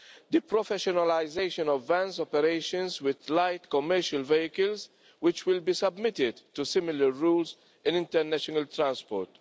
the professionalisation of van operations with light commercial vehicles, which will be submitted to similar rules in international transport